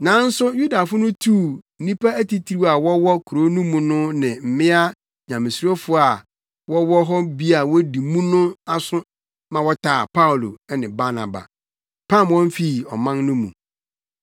Nanso Yudafo no tuu nnipa atitiriw a wɔwɔ kurow no mu no ne mmea Nyamesurofo a na wɔwɔ hɔ bi a wodi mu no aso ma wɔtaa Paulo ne Barnaba, pam wɔn fii ɔman no mu.